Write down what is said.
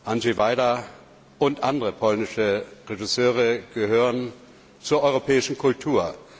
Andrzej Wajda und andere polnische Regisseure gehören zur europäischen Kultur.